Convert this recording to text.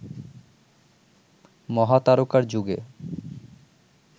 মহাতারকার যুগে